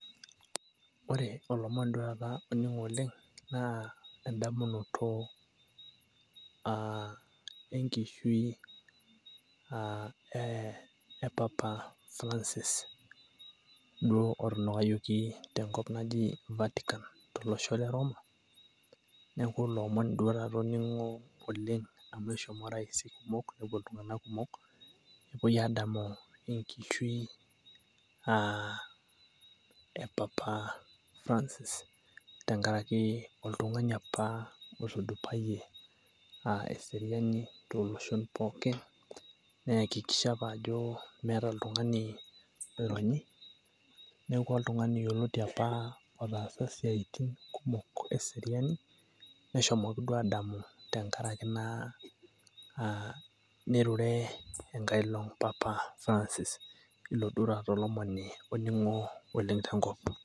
ore olomoni duoo taata oning'o oleng' naa eda boloto, enkishui e papa francis, duo otunukayioki tenkop naji bertikan tolosho le roma, neeku ilo omoni duoo taata oning'o oleng' amu eshomo raisi kumok, nepuo loshon kumok. amu enkishui e papa francis amu oltungani apa oitudupayie eseriani too nkuapi pookin, neya kikisha apa ajo meeta oltung'ani oironyi, neeku oltungani apa otaasa isiatin kumok eseriani, neshomoki duo aadamu tenkaraki nirure enkae long, pop Francis. ilo duo olomoni oning'o te nkop.